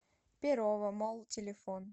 перово молл телефон